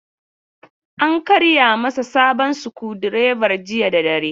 An karya masa sabon sukudireban jiya da dare.